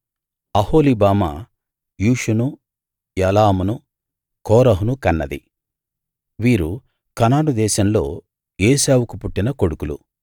అహోలీబామా యూషును యాలామును కోరహును కన్నది వీరు కనాను దేశంలో ఏశావుకు పుట్టిన కొడుకులు